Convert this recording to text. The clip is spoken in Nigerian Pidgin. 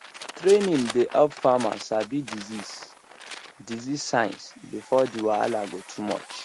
training dey help farmers sabi disease disease signs before the wahala go too much